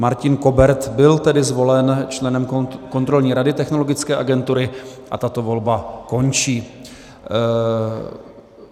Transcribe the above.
Martin Kobert byl tedy zvolen členem Kontrolní rady Technologické agentury a tato volba končí.